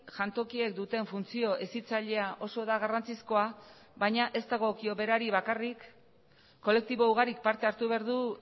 jantokiek duten funtzio hezitzailea oso da garrantzizkoa baina ez dagokio berari bakarrik kolektibo ugarik parte hartu behar du